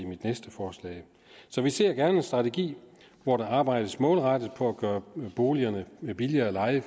mit næste forslag så vi ser gerne en strategi hvor der arbejdes målrettet på at gøre boligerne billigere at leje